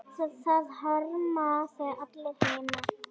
Það harma þig allir heima.